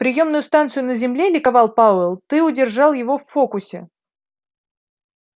приёмную станцию на земле ликовал пауэлл ты удержал его в фокусе